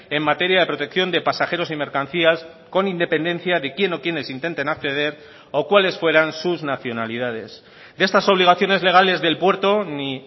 en materia de protección de pasajeros y mercancías con independencia de quién o quiénes intenten acceder o cuales fueran sus nacionalidades de estas obligaciones legales del puerto ni